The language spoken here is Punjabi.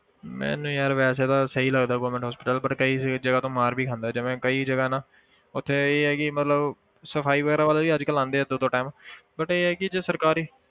ਮੈਨੂੰ ਯਾਰ ਵੈਸੇ ਤਾਂ ਸਹੀ ਲੱਗਦਾ government hospital but ਕਈ ਜਗ੍ਹਾ ਤੋਂ ਮਾਰ ਵੀ ਖਾਂਦਾ ਜਿਵੇਂ ਕਈ ਜਗ੍ਹਾ ਹੈ ਨਾ ਉੱਥੇ ਇਹ ਆ ਕਿ ਮਤਲਬ ਸਫ਼ਾਈ ਵਗ਼ੈਰਾ ਵਾਲੇ ਵੀ ਅੱਜ ਕੱਲ੍ਹ ਆਉਂਦੇ ਹੈ ਦੋ ਦੋ time but ਇਹ ਹੈ ਕਿ ਜੋ ਸਰਕਾਰੀ